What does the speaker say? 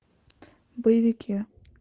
боевики